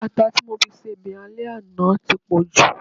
ata ti mofi ṣe obe ale àná ti po ju